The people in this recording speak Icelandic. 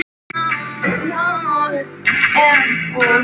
Gott að geta hlegið.